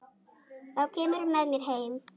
Þá kemurðu með mér heim.